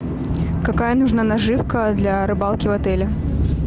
какая нужна наживка для рыбалки в отеле